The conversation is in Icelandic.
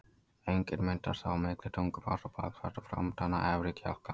Öngin myndast þá á milli tungubrodds og bakflatar og framtanna efri kjálka.